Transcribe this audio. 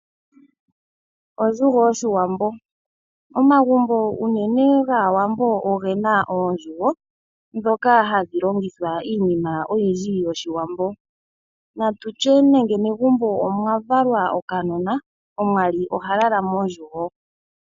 Ondjugo yOshiwambo Omagumbo unene gAawambo oge na oondjugo ndhoka hadhi longithwa iinima oyindji yOshiwambo. Ngele megumbo omwa valwa okanona, omwali oha lala mondjugo.